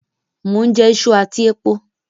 Mo n jẹ isu àtí epo